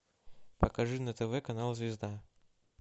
покажи на тв канал звезда